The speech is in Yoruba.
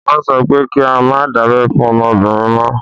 Wọ́n sọ pé kí á má dábẹ́ fún ọmọbìnrin mọ́.